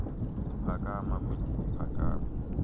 phakama kwedini phakama